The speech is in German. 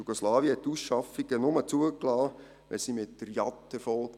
Jugoslawien liess Ausschaffungen nur zu, wenn sie mit der den Jat Airways erfolgte.